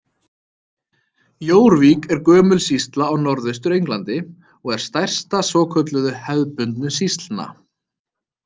Jórvík er gömul sýsla á Norðaustur-Englandi og er stærsta svokölluðu „hefðbundu sýslna“.